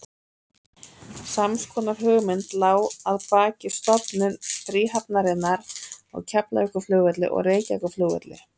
Sams konar hugmynd lá að baki stofnun fríhafnarinnar á Keflavíkurflugvelli og Reykjavíkurflugvelli.